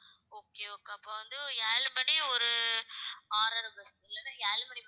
okay okay அப்ப வந்து, ஏழு மணி ஒரு ஆறு அரை bus இல்லைன்னா ஏழு மணி bus